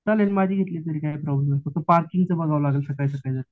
चालेल माझी घेतली तरी काही प्रोब्लेम नाही पार्किंगचं बघावं लागेल सकाळी सकाळी